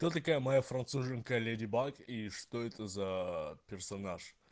кто такая моя француженка леди баг и что это за персонаж